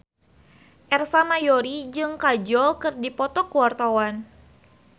Ersa Mayori jeung Kajol keur dipoto ku wartawan